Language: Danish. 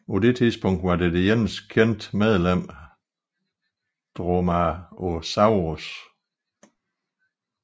På dette tidspunkt var det eneste kendte medlem Dromaeosaurus